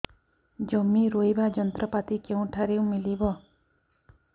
ଜମି ରୋଇବା ଯନ୍ତ୍ରପାତି କେଉଁଠାରୁ ମିଳିବ